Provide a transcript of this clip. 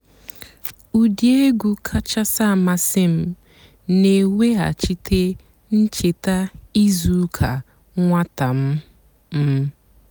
ụ́dị́ ègwú kàchàsị́ àmásị́ m nà-èwéghàchíté ǹchèta ìzú ụ́kà nwátà m. m.